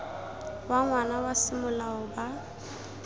wa ngwana wa semolao ba